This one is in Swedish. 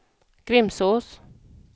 Grimsås